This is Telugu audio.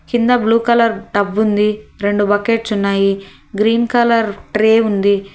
కింద బ్లూ కలర్ టబ్ ఉంది. రెండు బకెట్స్ ఉన్నాయి గ్రీన్ కలర్ ట్రే ఉంది.